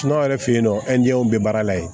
yɛrɛ fe yen nɔ be baara la yen